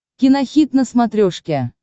кинохит на смотрешке